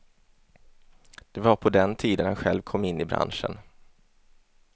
Det var på den tiden han själv kom in i branschen.